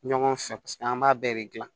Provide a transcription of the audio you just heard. Ɲɔgɔn fɛ paseke an b'a bɛɛ de gilan